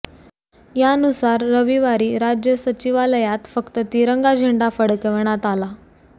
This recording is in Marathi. यानुसार रविवारी राज्य सचिवालयात फक्त तिरंगा झेंडा फडकविण्यात आला